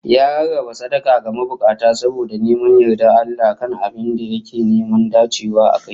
Ya rarraba sadaka ga mabukata saboda neman yardar Allah a kan abin da yake neman dacewa akai